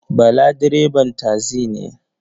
Bala direban tasi ne.